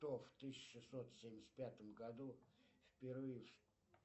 кто в тысяча шестьсот семьдесят пятом году впервые